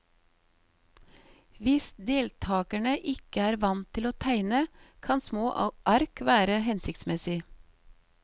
Hvis deltakerne ikke er vant til å tegne, kan små ark være hensiktsmessig.